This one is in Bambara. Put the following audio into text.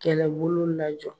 Kɛlɛbolo lajɔ